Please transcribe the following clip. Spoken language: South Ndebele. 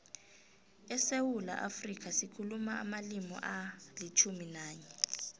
esewula afrika sikhuluma amalimi alitjhumi nanye